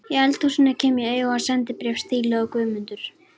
Í eldhúsinu kem ég auga á sendibréf stíluð á Guðmundur